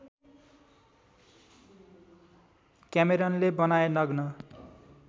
क्यामेरनले बनाए नग्न